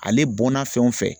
Ale bɔnna fɛn o fɛn